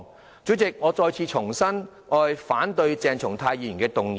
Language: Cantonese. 代理主席，我重申我反對鄭松泰議員的議案。